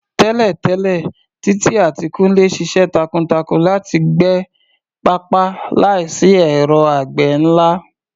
Tẹ́lẹ̀tẹ́lẹ̀, Titi àti Kunle ṣiṣẹ́ takuntakun láti gbẹ pápá láìsí ẹ̀rọ àgbẹ̀ ńlá.